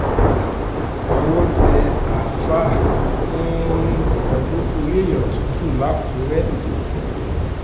owó tẹ àfàà um pẹ̀lú orí èèyàn tutù lákùrẹ́